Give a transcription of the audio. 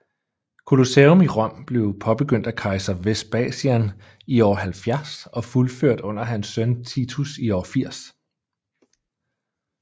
Colosseum i Rom blev påbegyndt af kejser Vespasian i år 70 og fuldført under hans søn Titus i år 80